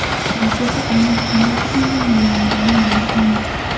Raketa aynan qanday tizimdan yo‘llangani ma’lum emas.